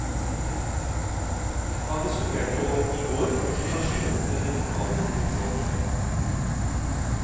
Han diskuterte i går situasjonen med de lokale tillitsvalgte.